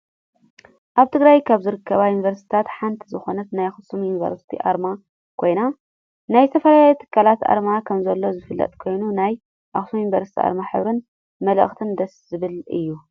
ኣብ ትግራይ ካብ ዝርከባ ዩኒቨርስትታት ሓንቲ ዝኮነት ናይ ኣክሱም ዩኒቨርስቲ ኣርማ ኮይኑ ናይ ዝተፈላለዩ ትካላት ኣርማ ከምዘሎ ዝፍለጥ ኮይኑ ናይ ኣክሱም ዩኒቨርስቲ ኣርማ ሕብሩን መልእክቱን ደስ ዝብል እዩ።